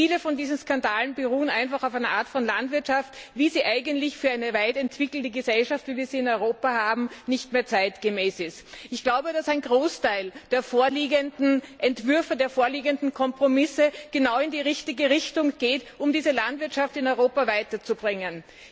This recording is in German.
viele dieser Skandale beruhen einfach auf einer Art von Landwirtschaft, wie sie eigentlich für eine weit entwickelte Gesellschaft, wie wir sie in Europa haben, nicht mehr zeitgemäß ist. Ein Großteil der vorliegenden Entwürfe, der vorliegenden Kompromisse geht genau in die richtige Richtung, um die Landwirtschaft in Europa weiterzubringen.